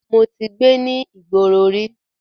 Mo ti gbé ní ìgboro rí.